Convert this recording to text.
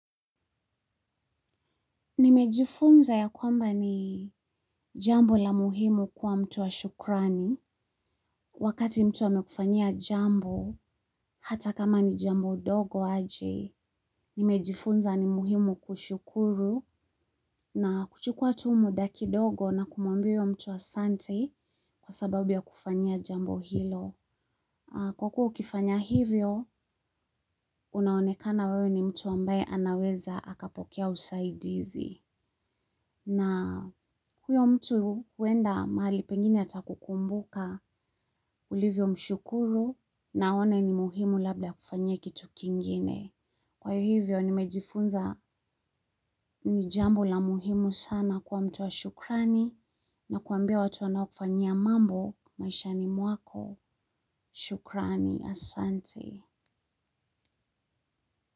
Nimejifunza ya kwamba ni jambo la muhimu kuwa mtu wa shukrani. Wakati mtu amekufanya jambo hata kama ni jambo dogo aje. Nimejifunza ni muhimu kushukuru na kuchukua tu muda kidogo na kumuambia huyo mtu asante kwa sababu ya kufanya jambo hilo. Kwa kuwa ukifanya hivyo, unaonekana wewe ni mtu ambaye anaweza akapokea usaidizi. Na huyo mtu huenda mahali pengine atakukumbuka ulivyomshukuru na aone ni muhimu labda akufanyie kitu kingine. Kwa hivyo nimejifunza ni jambo la muhimu sana kuwa mtu wa shukrani na kuambia watu wanaokufanyia mambo maishani mwako shukrani, asante.